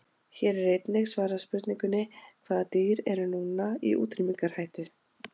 Hér er einnig svarað spurningunni: Hvaða dýr eru núna í útrýmingarhættu?